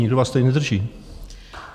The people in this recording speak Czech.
Nikdo vás tady nedrží.